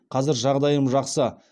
қазір жағдайым жақсы